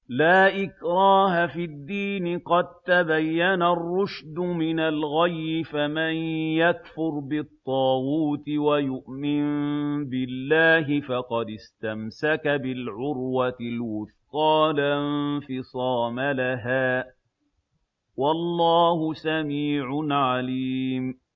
لَا إِكْرَاهَ فِي الدِّينِ ۖ قَد تَّبَيَّنَ الرُّشْدُ مِنَ الْغَيِّ ۚ فَمَن يَكْفُرْ بِالطَّاغُوتِ وَيُؤْمِن بِاللَّهِ فَقَدِ اسْتَمْسَكَ بِالْعُرْوَةِ الْوُثْقَىٰ لَا انفِصَامَ لَهَا ۗ وَاللَّهُ سَمِيعٌ عَلِيمٌ